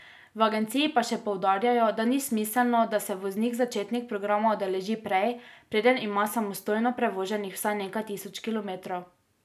V agenciji pa še poudarjajo, da ni smiselno, da se voznik začetnik programa udeleži prej, preden ima samostojno prevoženih vsaj nekaj tisoč kilometrov.